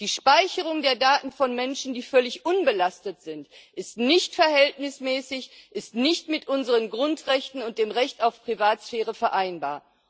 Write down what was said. Die Speicherung der Daten von Menschen, die völlig unbelastet sind, ist nicht verhältnismäßig, ist nicht mit unseren Grundrechten und dem Recht auf Privatsphäre vereinbar.